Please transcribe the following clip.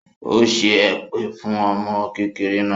Ó ṣẹ́ èpè fún ọmọ kékeré náà